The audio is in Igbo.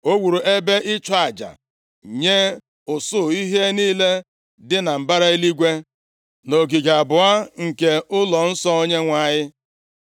O wuru ebe ịchụ aja nye usuu ihe niile dị na mbara eluigwe, + 21:5 Nke a bụ anyanwụ, ọnwa na kpakpando nʼogige abụọ nke nʼụlọnsọ Onyenwe anyị.